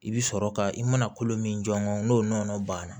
I bɛ sɔrɔ ka i mana kolo min jɔ n'o nɔnɔ banna